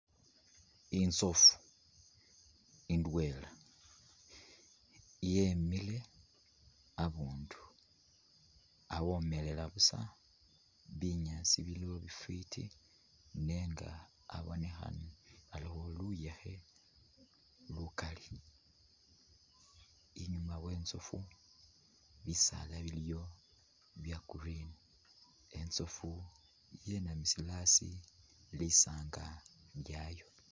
Inzofu idwela yemile habundu khomelela busa binyasi biliwo bifiti nga habonekhana aliwo luyekhe lukali inyuma wezofu bisaala biliyo bya green inzofu yinamisile asi lisanga lyayo.